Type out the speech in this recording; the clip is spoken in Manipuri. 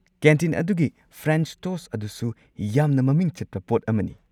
ꯀꯦꯟꯇꯤꯟ ꯑꯗꯨꯒꯤ ꯐ꯭ꯔꯦꯟꯆ ꯇꯣꯁꯠ ꯑꯗꯨꯁꯨ ꯌꯥꯝꯅ ꯃꯃꯤꯡ ꯆꯠꯄ ꯄꯣꯠ ꯑꯃꯅꯤ꯫